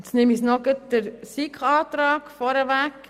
Ich nehme noch gleich den Antrag der SiK vorweg.